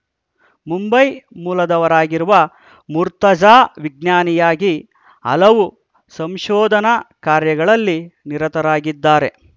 ಮುಂಬೈ ಮೂಲದವರಾಗಿರುವ ಮುರ್ತಾಜಾ ವಿಜ್ಞಾನಿಯಾಗಿ ಹಲವು ಸಂಶೋಧನಾ ಕಾರ್ಯಗಳಲ್ಲಿ ನಿರತರಾಗಿದ್ದಾರೆ